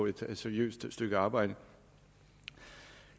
et seriøst stykke arbejde